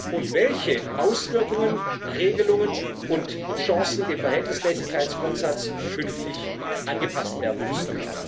und welche Auswirkungen, Regelungen und Chancen dem Verhältnismäßigkeitsgrundsatz künftig angepasst werden müssen.